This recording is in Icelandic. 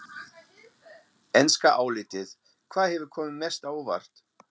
Enska álitið: Hvað hefur komið mest á óvart?